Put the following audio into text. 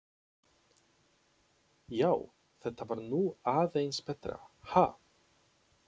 Já, þetta var nú aðeins betra, ha!